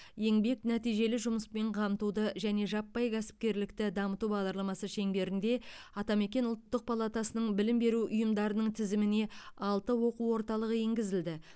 еңбек нәтижелі жұмыспен қамтуды және жаппай кәсіпкерлікті дамыту бағдарламасы шеңберінде атамекен ұлттық палатасының білім беру ұйымдарының тізіміне алты оқу орталығы енгізілді